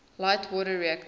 light water reactors